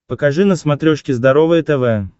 покажи на смотрешке здоровое тв